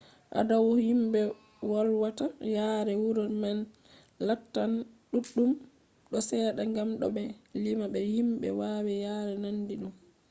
adadu himɓe wolwata yaare wuro man lattan ɗuɗɗum ko seɗɗa gam to ɓe ɗo lima be himɓe wawi yare nandi ɗum